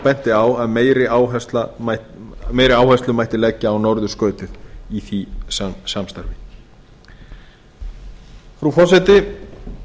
benti á að meiri áherslu mætti leggja á norðurskautið í því samstarfi frú forseti